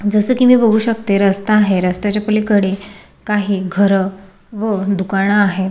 जस की मी बघू शंकते रस्ता आहे रस्ताच्या पलीकडे काही घर व दुकान आहे.